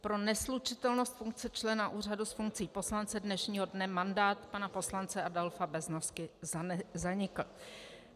Pro neslučitelnost funkce člena úřadu s funkcí poslance dnešního dne mandát pana poslance Adolfa Beznosky zanikl.